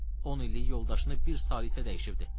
On illik yoldaşını bir sarı itə dəyişibdi.